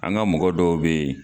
An ka mɔgɔ dɔw bɛ yen.